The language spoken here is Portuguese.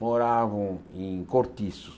moravam em cortiços.